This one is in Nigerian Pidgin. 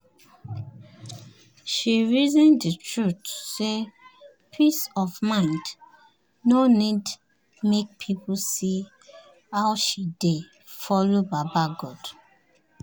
she reason d truth say peace of mind no need make people see how she dey follow baba god